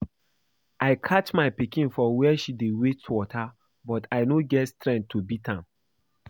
I catch my pikin for where she dey waste water but I no get strength to beat am